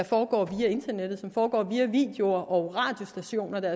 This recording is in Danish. foregår via internettet som foregår via videoer og via radiostationer der